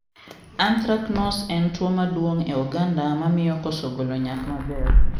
Anthracnose en tuo maduong e oganda mamiyo koso golo nyak mabr.